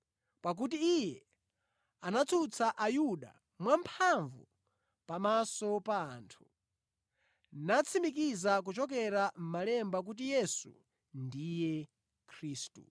Pakuti iye anatsutsa Ayuda mwamphamvu pamaso pa anthu, natsimikiza kuchokera mʼMalemba kuti Yesu ndiye Khristu.